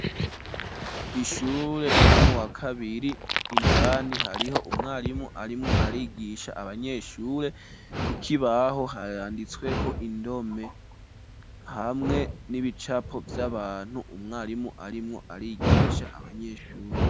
Ishure ryo mu wakabiri, indani hariho umwarimu, arimwo, arigisha abanyeshure ku kibaho hayanditsweho indome, hamwe n'ibicapo vy'abantu umwarimu arimwo, arigisha abanyeshure.